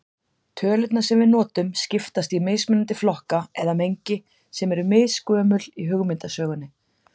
Tölurnar sem við notum skiptast í mismunandi flokka eða mengi sem eru misgömul í hugmyndasögunni.